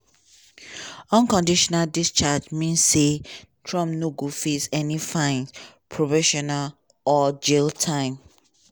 unconditional discharge mean say trump no go face any fines probation or jail time.